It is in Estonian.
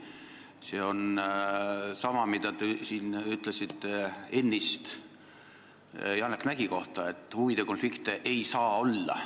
See on samamoodi, nagu te ütlesite ennist Janek Mäggi kohta, et huvide konflikte ei saa olla.